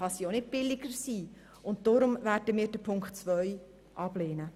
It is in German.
Deshalb werden wir Ziffer 2 ablehnen.